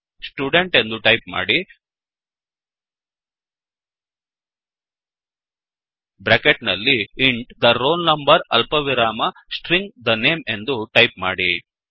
student ಎಂದು type ಮಾಡಿ bracket ನಲ್ಲಿ ಇಂಟ್ the roll number ಅಲ್ಪವಿರಾಮ ಸ್ಟ್ರಿಂಗ್ the name ಎಂದು ಟೈಪ್ ಮಾಡಿ